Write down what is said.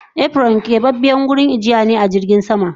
Kebabiyar wurin ajiye jirgin sama